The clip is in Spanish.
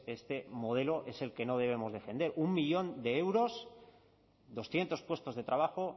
este modelo es el que no debemos defender uno millón de euros doscientos puestos de trabajo